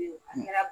A kɛra